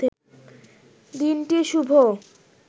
দিনটি শুভ